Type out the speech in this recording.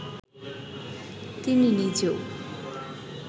তিনি নিজেও